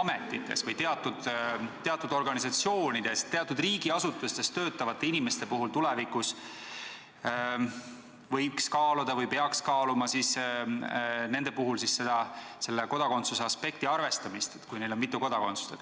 ametites või teatud organisatsioonides, teatud riigiasutustes töötavate inimeste puhul võiks tulevikus kaaluda või peaks kaaluma kodakondsuse aspekti arvestamist, kui neil on mitu kodakondsust.